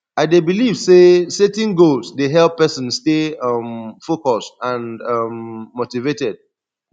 i dey believe say setting goals dey help pesin stay um focused and um motivated